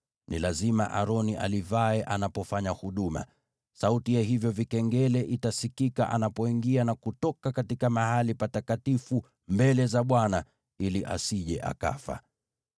Ni lazima Aroni alivae anapofanya huduma. Sauti ya hivyo vikengele itasikika anapoingia na kutoka Mahali Patakatifu mbele za Bwana , ili asije akafa.